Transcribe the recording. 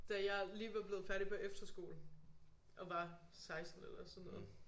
Da jeg lige var blevet færdig på efterskole og var 16 eller sådan noget